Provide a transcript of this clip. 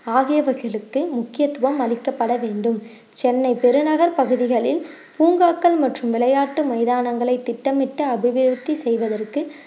ஆகியவகைளுக்கு முக்கியத்துவம் அளிக்கப்பட வேண்டும் சென்னை பெருநகர் பகுதிகளில் பூங்காக்கள் மற்றும் விளையாட்டு மைதானங்களை திட்டமிட்டு அபிவிருத்தி செய்வதற்கு